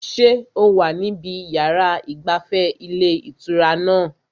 Ṣé o wà níbi yàrá ìgbafẹ́ ilé ìtura náà?